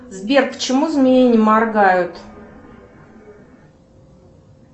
сбер почему змеи не моргают